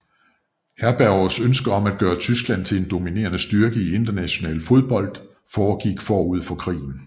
Herbergers ønske om at gøre Tyskland til en dominerende styrke i international fodbold foregik forud for krigen